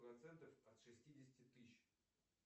процентов от шестидесяти тысяч